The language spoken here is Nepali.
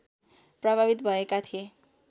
प्रभावित भएका थिए